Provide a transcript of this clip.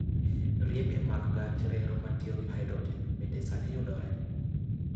Riepe mag gach reru matiyo gi hydrogen bende sani yudore.